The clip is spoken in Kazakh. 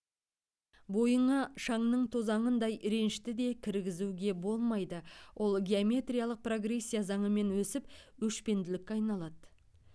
бойыңа шаңның тозаңындай ренішті де кіргізуге болмайды ол геометриялық прогрессия заңымен өсіп өшпенділікке айналады